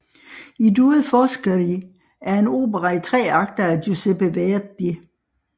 I due Foscari er en opera i tre akter af Giuseppe Verdi